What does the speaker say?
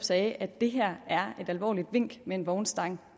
sagde at det her er et alvorligt vink med en vognstang